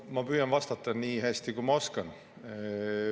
Ma püüan vastata nii hästi, kui ma oskan.